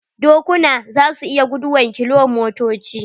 Dokuna za su iya guduwan kilomotoci.